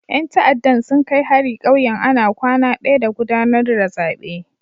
Yan ta'addan sun kai hari kauyen ana kwana daya da gudanar da zabe.